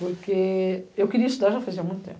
Porque eu queria estudar já fazia muito tempo.